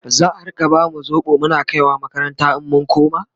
za'a Rika bamu sobo Muna kaiwa makaranta in mun koma?